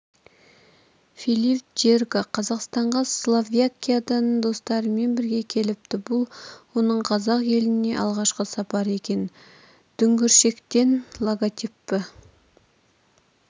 филипп джерга қазақстанға словакиядан достарымен бірге келіпті бұл оның қазақ еліне алғашқы сапары екен дүңгіршектен логотипі